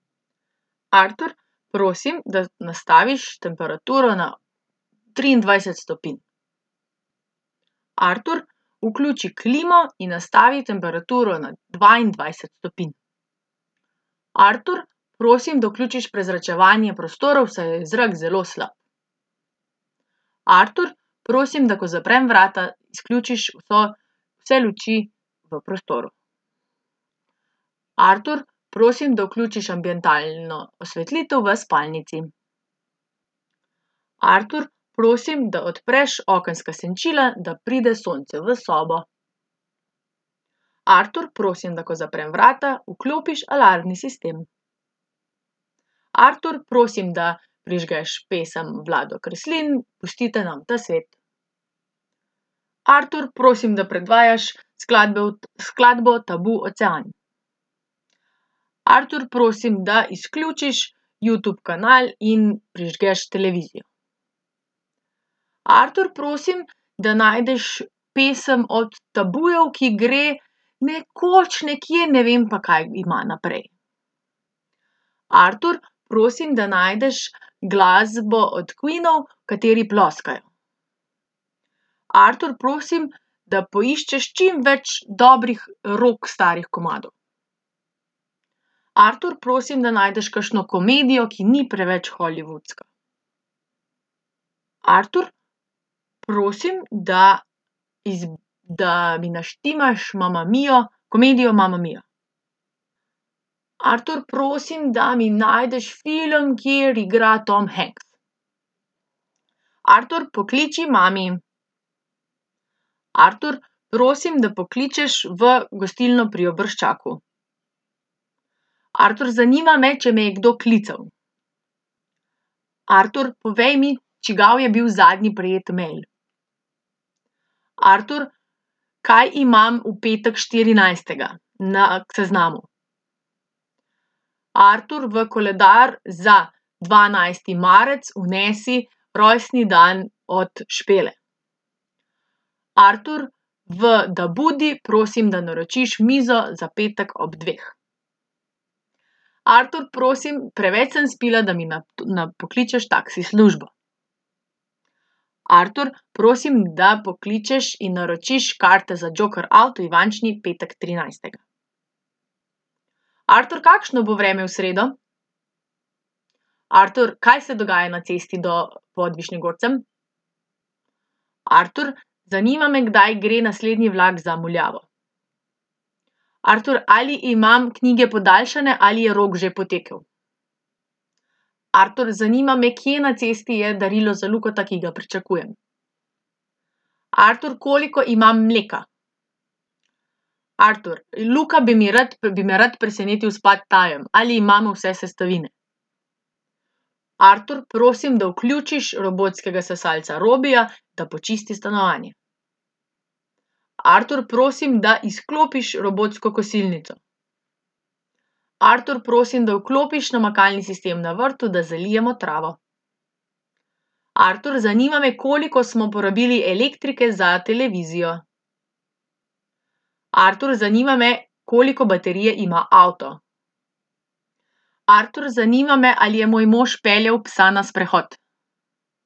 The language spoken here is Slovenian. Artur, prosim, da nastaviš temperaturo na triindvajset stopinj. Artur, vključi klimo in nastavi temperaturo na dvaindvajset stopinj. Artur, prosim, da vključiš prezračevanje prostorov, saj je zrak zelo slab. Artur, prosim, da ko zaprem vrata, izključiš vso, vse luči v prostoru. Artur, prosim, da vključiš ambientalno osvetlitev v spalnici. Artur, prosim, da odpreš okenska senčila, da pride sonce v sobo. Artur, prosim, da ko zaprem vrata, vklopiš alarmni sistem. Artur, prosi, da prižgeš pesem Vlado Kreslin, Pustite nam ta svet. Artur, prosim, da predvajaš skladbe od, skladbo od Tabu, Ocean. Artur, prosim, da izključiš Youtube kanal in prižgeš televizijo. Artur, prosim, da najdeš pesem od Tabujev, ki gre Nekoč, nekje, ne vem, pa kaj ima naprej. Artur, prosim, da najdeš glasbo od Queenov, v kateri ploskajo. Artur, prosim, da poiščeš čimveč dobrih rock starih komadov. Artur, prosim da najdeš kakšno komedijo, ki ni preveč hollywoodska. Artur, prosim, da da mi naštimaš Mamma mio, komedijo Mamma mio. Artur, prosim, da mi najdeš film, kjer igra Tom Hanks. Artur, pokliči mami. Artur, prosim, da pokličeš v gostilno Pri Obrščaku. Artur, zanima me, če me je kdo klical. Artur, povej mi, čigav je bil zadnji prejet mail. Artur, kaj imam v petek štirinajstega na seznamu. Artur, v koledar za dvanajsti marec vnesi rojstni dan od Špele. Artur, v Dabudi prosim, da naročiš mizo za petek ob dveh. Artur, prosim, preveč sem spila, da mi pokličeš taksi službo. Artur, prosim, da pokličeš in naročiš karte za Joker aut v Ivančni petek trinajstega. Artur, kakšno bo vreme v sredo? Artur, kaj se dogaja na cesti do . Artur, zanima me, kdaj gre naslednji vlak za Muljavo? Artur, ali imam knjige podaljšane ali je rok že potekel? Artur, zanima me, kje na cesti je darilo za Lukata, ki ga pričakujem? Artur, koliko imam mleka? Artur, Luka bi mi rad, bi me rad presenetil s pad thaijem. Ali imamo vse sestavine? Artur, prosim, da vključiš robotskega sesalca Robija, da počisti stanovanje. Artur, prosim, da izklopiš robotsko kosilnico. Artur, prosim, da vklopiš namakalni sistem na vrtu, da zalijemo travo. Artur, zanima me, koliko smo porabili elektrike za televizijo. Artur, zanima me, koliko baterije ima avto? Artur, zanima me, ali je moj mož peljal psa na sprehod?